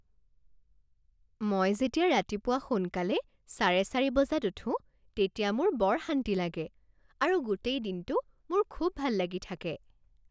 মই যেতিয়া ৰাতিপুৱা সোনকালে চাৰে চাৰি বজাত উঠোঁ তেতিয়া মোৰ বৰ শান্তি লাগে আৰু গোটেই দিনটো মোৰ খুব ভাল লাগি থাকে।